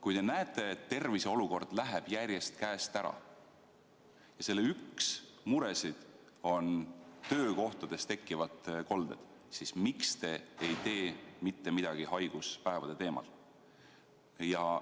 Kui te näete, et terviseolukord läheb järjest käest ära ja üks muresid on töökohtades tekkivad kolded, siis miks te ei tee mitte midagi haiguspäevade teemal?